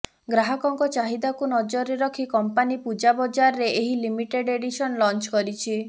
ଗ୍ରାହକଙ୍କ ଚାହିଦାକୁ ନଜରରେ ରଖି କମ୍ପାନି ପୂଜା ବଜାରରେ ଏହି ଲିମିଟେଡ଼ ଏଡିସନ ଲଞ୍ଚ କରିଛି